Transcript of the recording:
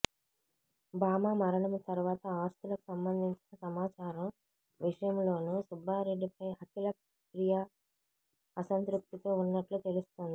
భూమా మరణం తర్వాత ఆస్తులకు సంబంధించిన సమాచారం విషయంలోను సుబ్బారెడ్డిపై అఖిలప్రియ అసంతృప్తితో ఉన్నట్లు తెలుస్తోంది